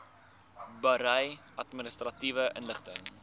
berei administratiewe inligting